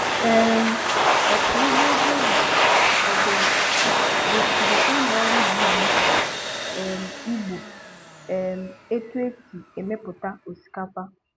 um Ọkọugbo Jerry Oduma gosiri ụlọọrụ BBC um Igbo um etu e si emepụta osikapa.